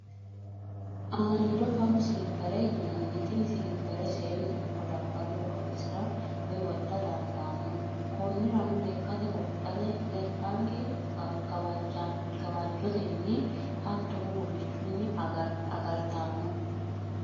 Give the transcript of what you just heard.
Aniido fano siliphere yinanni tini siliphere seenu ikko laballu horonsirra woyi wodha dandaano, koniranno lekkate wodhate lekanke gawajjotenni hattono gufichunni agaritanno